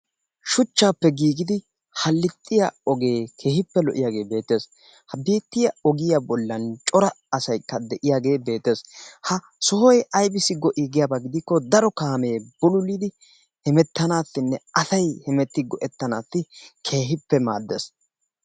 Shuchchaappe giigidi hallixxiya ogee keehippe lo"iyagee beettes habeettoya ogiya bollan cora asayikka de"iyagee beettes. Ha sohoyi aybissi go"ii giyaba gidikko daro kaamee bululidi hemettanaassinne asayi hemetti go"ettanaassi keehippe maaddes.